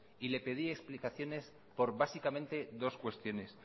y le pedí explicaciones por básicamente dos cuestiones